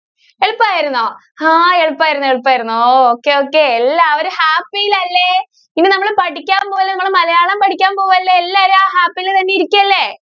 എളുപ്പം ആയിരുന്നോ? ആ എളുപ്പം ആയിരുന്നു എളുപ്പം ആയിരുന്നു ഓഹ് okay okay. എല്ലാവരും happy യിൽ അല്ലേ? ഇന്ന് നമ്മൾ പഠിക്കാൻ പോകുന്നത് നിങ്ങൾ മലയാളം പഠിക്കാൻ പോകുവല്ലേ? എല്ലാവരും ആ happy യിൽ തന്നെ ഇരിക്കല്ലേ?